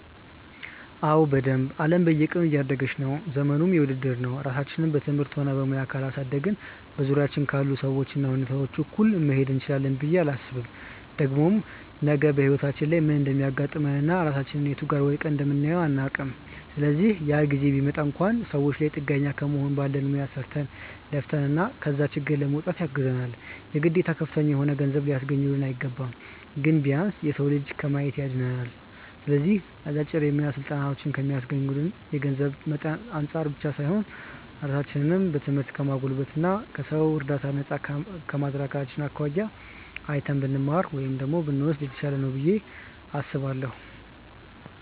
አዎ በደንብ። አለም በየቀኑ እያደገች ነው፤ ዘመኑም የውድድር ነው። ራሳችንን በትምህርትም ሆነ በሙያ ካላሳደግን በዙሪያችን ካሉ ሰዎች እና ሁኔታዎች እኩል መሄድ እንችላለን ብዬ አላስብም። ደግሞም ነገ በህይወታችን ላይ ምን እንደሚያጋጥመን እና ራሳችንን የቱ ጋር ወድቀን እንደምናየው አናውቅም። ስለዚህ ያ ጊዜ ቢመጣ እንኳን ሰዎች ላይ ጥገኛ ከመሆን ባለን ሙያ ሰርተን፣ ለፍተን ከዛ ችግር ለመውጣት ያግዘናል። የግዴታ ከፍተኛ የሆነ ገንዘብ ሊያስገኙልን አይገባም። ግን ቢያንስ የሰው እጅ ከማየት ያድነናል። ስለዚህ አጫጭር የሙያ ስልጠናዎችን ከሚስገኙልን የገንዘብ መጠን አንፃር ብቻ ሳይሆን ራሳችንን በትምህርት ከማጎልበት እና ከሰው እርዳታ ነፃ ከማድረጋቸው አኳያ አይተን ብንማር (ብንወስድ) የተሻለ ነው ብዬ አስባለሁ።